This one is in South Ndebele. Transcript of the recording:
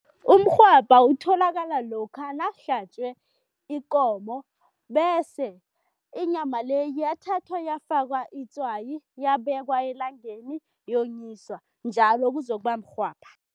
Umrhwabha utholakala lokha nakuhlatjwe ikomo bese inyama le yathathwa yafakwa itswayi, yabekwa elangeni, yonyiswa, njalo kuzokuba mrhwabha.